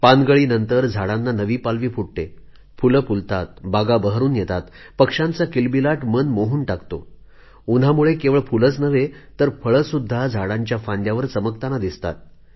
पानगळीनंतर झाडांना नवी पालवी फुटते फूले फुलतात बागा बहरून येतात पक्षांचा किलबिलाट मन मोहून टाकतो उन्हामुळे केवळ फूलेच नव्हे तर फळेसुद्धा झाडांच्या फांद्यांवर चमकताना दिसतात